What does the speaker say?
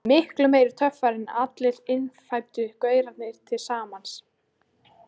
Miklu meiri töffari en allir innfæddu gaurarnir til samans.